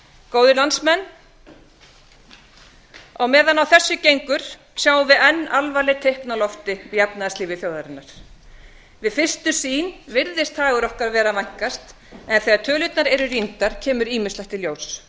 góðir landsmenn á meðan á þessu gengur sjáum við enn alvarleg teikn á lofti í efnahagslífi þjóðarinnar við fyrstu sýn virðist hagur okkar vera að vænkast en þegar tölurnar eru rýndar kemur ýmislegt í ljós